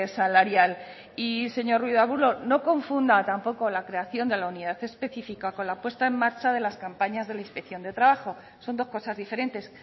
salarial y señor ruiz de arbulo no confunda tampoco la creación de la unidad específica con la puesta en marcha de las campañas de la inspección de trabajo son dos cosas diferentes